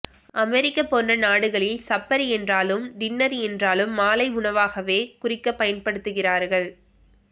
அமெரிக்க போன்ற நாடுகளில் சப்பர் என்றாலும் டின்னர் என்றாலும் மாலை உணவாகவே குறிக்கப் பயன்ப்டுத்துகிறார்கள்